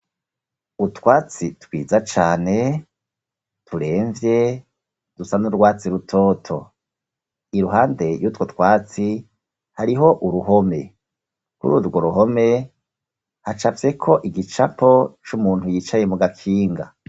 Utwatsi twiza cane turemvye dusa n'urwatsi rutoto iruhande yutwo twatsi hariho uruhome uri urwo ruhome hacafyeko igicapo c'umuntu yicaye mu gakinga.